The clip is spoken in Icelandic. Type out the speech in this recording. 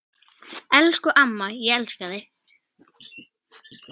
Elsku amma, ég elska þig.